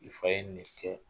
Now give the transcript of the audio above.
I fa ye nin ne kɛ.